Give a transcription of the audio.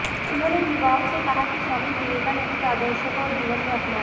उन्होंने युवाओं से कहा कि स्वामी विवेकानंद के आदर्शों को जीवन में अपनाएं